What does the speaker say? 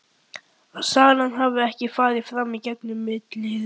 Að salan hafi ekki farið fram í gegn um millilið.